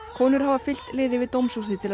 konur hafa fylkt liði við dómshúsið til að